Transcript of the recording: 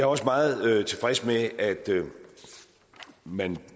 også meget tilfreds med at man